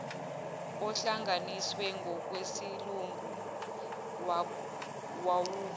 ohlanganiswe ngokwesilungu wawuba